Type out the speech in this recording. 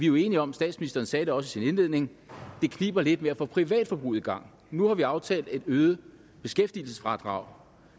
jo enige om statsministeren sagde det også i sin indledning at det kniber lidt med at få privatforbruget i gang nu har vi aftalt et øget beskæftigelsesfradrag